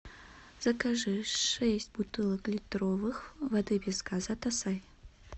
закажи шесть бутылок литровых воды без газа касай